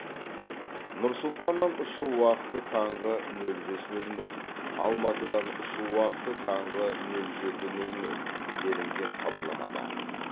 нұр сұлтаннан ұшу уақыты таңғы нөл бес нөл нөл алматыдан ұшу уақыты таңғы нөл жеті нөл нөл делінген хабарламада